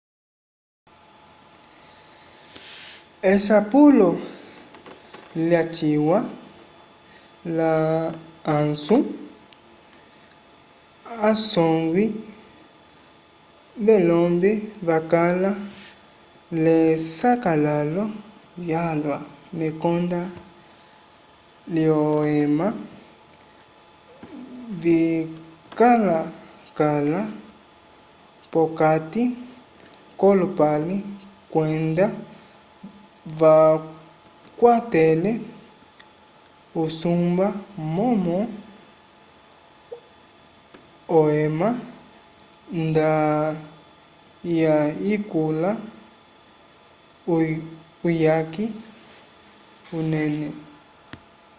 esapulo lyaciwa la ansu asongwi velombe vakala l'esakalalo lyalwa mekonda lyohema vikalakala p'okati k'olupale kwenda vakwatele usumba momo ohema nda yayikula uyaki unene